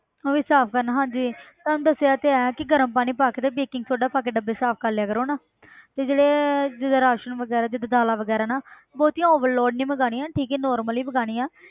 ਉਹ ਵੀ ਸਾਫ਼ ਕਰਨਾ ਹਾਂਜੀ ਤੁਹਾਨੂੰ ਦੱਸਿਆ ਤੇ ਹੈ ਕਿ ਗਰਮ ਪਾਣੀ ਪਾ ਕੇ ਤੇ baking soda ਪਾ ਕੇ ਡੱਬੇ ਸਾਫ਼ ਕਰ ਲਿਆ ਕਰੋ ਨਾ ਤੇ ਜਿਹੜੇ ਜਿੱਦਾਂ ਰਾਸ਼ਣ ਵਗ਼ੈਰਾ ਜਿੱਦਾਂ ਦਾਲਾਂ ਵਗ਼ੈਰਾ ਨਾ ਬਹੁਤੀਆਂ overload ਨੀ ਮੰਗਵਾਉਣੀਆਂ ਠੀਕ ਹੈ ਨੋਰਮਲੀ ਮੰਗਵਾਉਣੀਆਂ